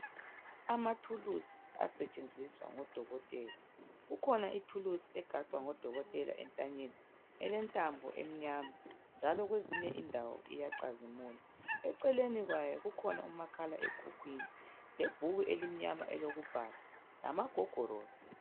Amathulusi asetshenziswa ngoDokotela, kukhona ithulusi egaxwa ngoDokotela entanyeni elentambo emnyama njalo kwezinye indawo iyacazimula. Eceleni kwayo kukhona umakhalekhukhwini lebhuku elimnyama elokubhala lamagogorosi.